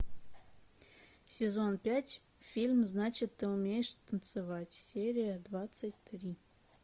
сезон пять фильм значит ты умеешь танцевать серия двадцать три